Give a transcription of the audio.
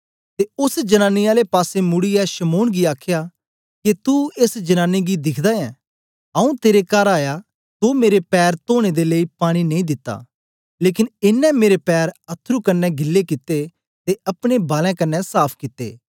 ते ओस जनानी आले पासे मुड़ीयै शमौन गी आखया के तू एस जनानी गी दिखदा ऐं आऊँ तेरे कर आया तो मेरे पैर तोने दे लेई पानी नेई दिता लेकन एनें मेरे पैर अथरू कन्ने गिले कित्ते ते अपने बालैं कन्ने साफ कित्ता